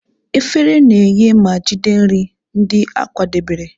Efere na-enye ma jide nri ndị a kwadebere.